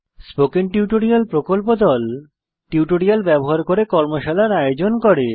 spoken tutorial প্রকল্প দল tutorial ব্যবহার করে কর্মশালার আয়োজন করে